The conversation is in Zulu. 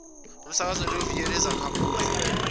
umsakazo weviyo lezakhamuzi